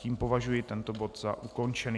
Tím považuji tento bod za ukončený.